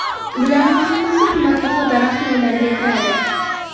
Bularning hammasi qimmatbaho daraxt navlariga kiradi.